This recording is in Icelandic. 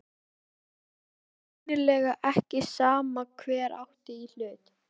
Það var greinilega ekki sama hver átti í hlut.